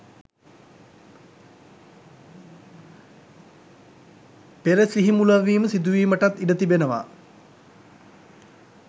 පෙර සිහි මුලාවීම සිදුවීමටත් ඉඩ තිබෙනවා.